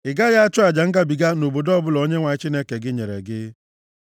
Ị gaghị achụ aja ngabiga nʼobodo ọbụla Onyenwe anyị Chineke gị nyere gị,